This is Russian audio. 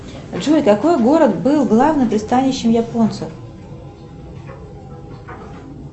джой какой город был главным пристанищем японцев